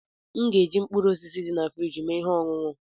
M ga-eji mkpụrụ osisi dị na friji mee ihe ọṅụṅụ.